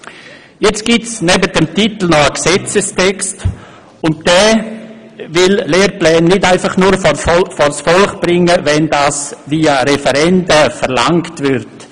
Nun gibt es neben dem Titel noch einen Gesetzestext, und dieser will Lehrpläne nicht einfach nur vors Volk bringen, wenn dies via Referenden verlangt würde.